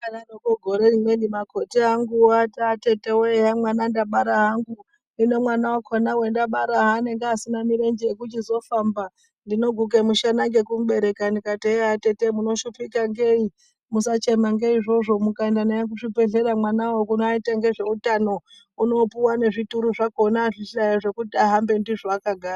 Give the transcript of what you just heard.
Vakadaroko gore rimweni makoti anguwo ati atetewee mwana ndabara hangu, hino mwana wakona wandabara haanenge asina mirenje ekuchizofamba ndinoguke mushana ngekumubereka, ndikati eyaa atete mushupika ngei musachema ngeizvozvo mukaenda naye kuzvibhedhleyaa mwanawo kunoitwa ngezveutanonunopuwa nezvituru zvakona zvekuti daii ahambe ndizvo akagara.